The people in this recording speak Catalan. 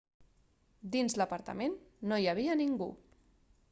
dins l'apartament no hi havia ningú